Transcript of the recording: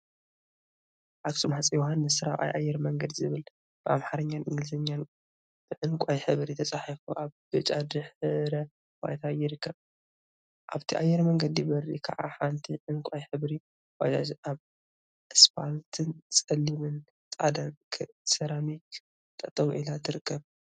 አክሱም ሃፀይ ዮሐንስ 4ይ አየር መንገድ ዝብል ብአምሓርኛን እንግሊዘኛን ብዕንቋይ ሕብሪ ተፃሒፉ አብ ብጫ ድሕረ ባይታ ይርከብ፡፡ አብቲ አየር መንገድ በሪ ከዓ ሓንቲ ዕንቋይ ሕብሪ ባጃጅ አብ እስፓልትን ፀሊምን ፃዕዳን ሰራሚክ ጠጠው ኢላ ትርከብ፡፡